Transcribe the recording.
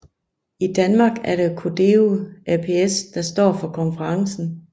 I Danmark er det Codeo ApS der står for konferencen